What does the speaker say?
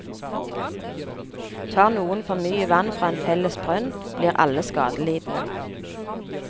Tar noen for mye vann fra en felles brønn, blir alle skadelidende.